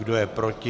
Kdo je proti?